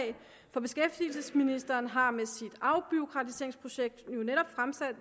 for beskæftigelsesministeren har med sit afbureaukratiseringsprojekt netop